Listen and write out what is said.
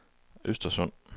Östersund